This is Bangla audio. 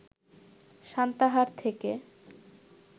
সান্তাহার থেকে